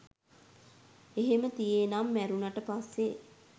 එහෙම තියේ නං මැරුණට පස්සෙ